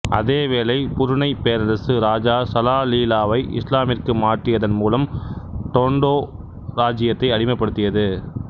அதேவேளை புருணை பேரரசு ராஜா சலாலிலாவை இசுலாமிற்கு மாற்றியதன் மூலம் டொண்டோ இராச்சியத்தை அடிமைப்படுத்தியது